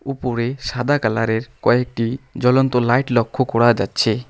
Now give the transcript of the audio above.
উপরে সাদা কালার -এর কয়েকটি জ্বলন্ত লাইট লক্ষ করা যাচ্ছে।